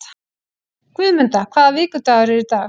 Guðmunda, hvaða vikudagur er í dag?